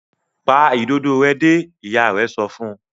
Pa Ìdodo rẹ dé! ìyá rẹ sọfún.